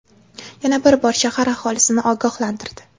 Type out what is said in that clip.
yana bir bor shahar aholisini ogohlantirdi.